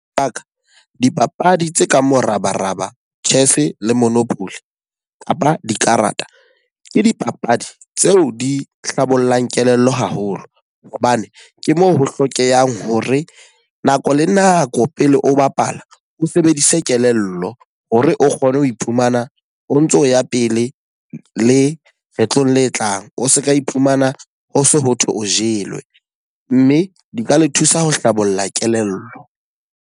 Ba ka, dipapadi tse ka morabaraba, chess le monopoly kapa dikarata. Ke dipapadi tseo di hlabollang kelello haholo. Hobane ke moo ho hlokehang hore nako le nako pele o bapala, o sebedise kelello hore o kgone ho iphumana o ntso ya pele le kgetlong le tlang. O seka iphumana ho se ho thwe o jelwe. Mme di ka le thusa ho hlabolla kelello.